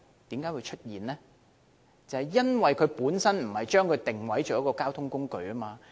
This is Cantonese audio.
便是因為政府不把單車定位為交通工具。